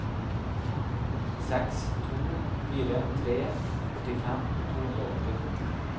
seks to fire tre åttifem to hundre og åtti